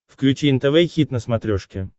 включи нтв хит на смотрешке